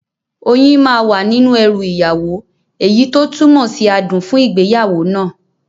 Oyin máa wà nínú ẹrù ìyàwó, èyí tó túmọ̀ sí adùn fún ìgbéyàwó náà